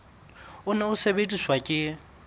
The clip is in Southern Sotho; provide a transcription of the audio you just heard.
o ne o sebediswa ke